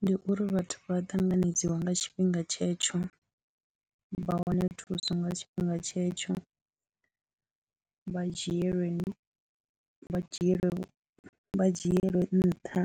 Ndi uri vhathu vha ṱanganedziwa nga tshifhinga tshetsho, vha wane thuso nga tshifhinga tshetsho, vha dzhielwe vha dzhielwe vha dzhielwe ṋtha